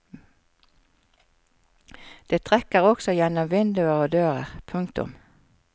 Det trekker også gjennom vinduer og dører. punktum